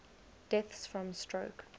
deaths from stroke